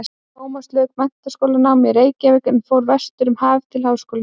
Tómas lauk menntaskólanámi í Reykjavík en fór vestur um haf til háskólanáms.